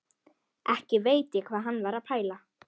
Ekki veit ég hvað hann var að pæla.